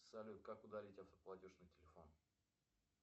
салют как удалить автоплатеж на телефон